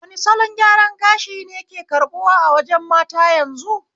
Wane salon gyaran gashi ne ke karbuwa a wajen mata yanzu?